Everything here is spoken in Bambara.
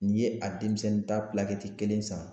N'i ye a denmisɛnnin ta kelen san